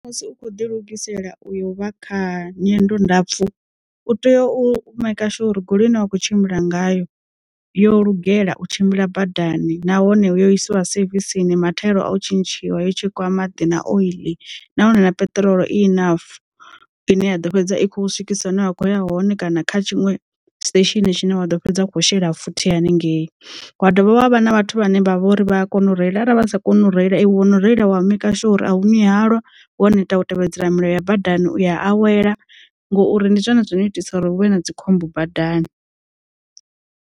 Musi u khou ḓi lugisela uyo vha kha nyendo ndapfu u tea u make sure uri goloi ine wa kho tshimbila ngayo yo lugela u tshimbila badani nahone yo isiwa sevisini mathaela o tshintshiwa yo tshe kwa maḓi na oiḽi nahone na peṱirolo i inafu ine ya ḓo fhedza i khou swikisa hune wa kho ya hone kana kha tshinwe station tshine wa ḓo fhedza a khou shela futhi haningei wadovha havha na vhathu vhane vha vha uri vha a u reila arali vhasa koni u reila i wone u no reila wa maker sure uri a ṅwi halwa wo neta u tevhedzela milayo ya badani u awela ngori ndi zwone zwino itisa uri huvhe na dzikhombo badani.